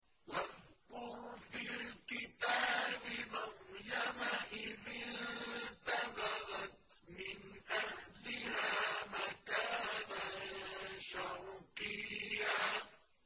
وَاذْكُرْ فِي الْكِتَابِ مَرْيَمَ إِذِ انتَبَذَتْ مِنْ أَهْلِهَا مَكَانًا شَرْقِيًّا